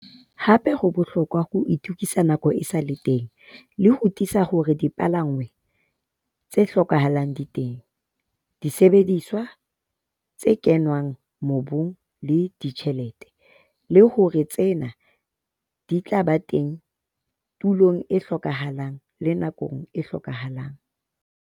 Hape ho bohlokwa ho itokisa nako e sa le teng le ho tiisa hore dipalangwang tse hlokahalang di teng, disebediswa, tse kenngwang mobung le ditjhelete, le hore tsena di tla ba teng tulong e hlokahalang le nakong e hlokahalang.